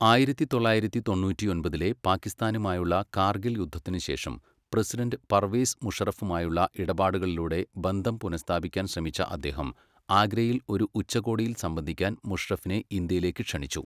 ആയിരത്തി തൊള്ളായിരത്തി തൊണ്ണൂറ്റിയൊമ്പതിലെ പാക്കിസ്ഥാനുമായുള്ള കാർഗിൽ യുദ്ധത്തിന് ശേഷം, പ്രസിഡണ്ട് പർവേസ് മുഷറഫുമായുള്ള ഇടപാടുകളിലൂടെ ബന്ധം പുനഃസ്ഥാപിക്കാൻ ശ്രമിച്ച അദ്ദേഹം ആഗ്രയിൽ ഒരു ഉച്ചകോടിയിൽ സംബന്ധിക്കാൻ മുഷറഫിനെ ഇന്ത്യയിലേക്ക് ക്ഷണിച്ചു.